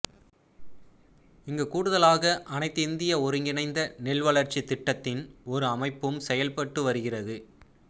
இங்கு கூடுதலாக அனைத்து இந்திய ஒருங்கிணைந்த நெல் வளர்ச்சித் திட்டத்தின் ஒரு அமைப்பும் செயல்பட்டு வருகிறது